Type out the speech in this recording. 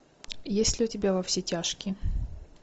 есть ли у тебя во все тяжкие